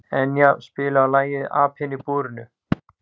Enea, spilaðu lagið „Apinn í búrinu“.